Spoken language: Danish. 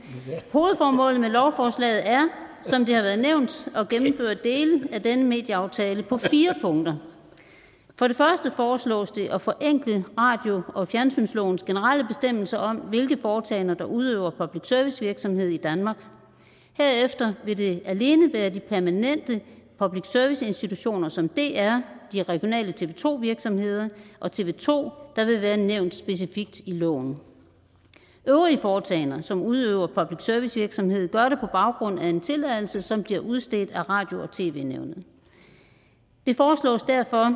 hovedformålet med lovforslaget er som det har været nævnt at af denne medieaftale på fire punkter for det første foreslås det at forenkle radio og fjernsynslovens generelle bestemmelser om hvilke foretagender der udøver public service virksomhed i danmark herefter vil det alene være de permanente public service institutioner som dr de regionale tv to virksomheder og tv to der vil være nævnt specifikt i loven øvrige foretagender som udøver public service virksomhed gør det på baggrund af en tilladelse som bliver udstedt af radio og tv nævnet det foreslås derfor at